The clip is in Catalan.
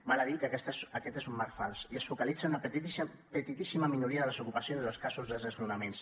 val a dir que aquest és un marc fals i es focalitza en una petitíssima minoria de les ocupacions i els casos de desnonaments